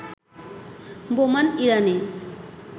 Boman Irani